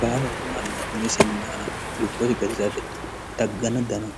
baalunku manni minisinna lubboti gatisaate tagganna dano